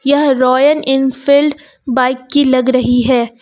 यह Royal Enfield bike की लग रही है।